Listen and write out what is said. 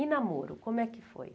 E namoro, como é que foi?